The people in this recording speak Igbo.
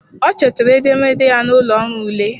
Ọ chọtara edemede ya n'ụlọ ọrụ ule.